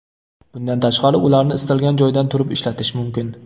Bundan tashqari ularni istalgan joydan turib ishlatish mumkin.